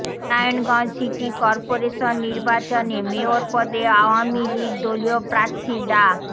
Narayanganj city corporation নির্বাচনে mayor পদে আওয়ামী লীগ দলীয় প্রার্থী ডা